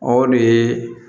O de ye